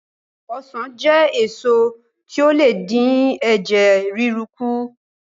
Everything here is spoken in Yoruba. Ọsàn jẹ́ èso tí ó le dín ẹ̀jẹ̀ ríru kù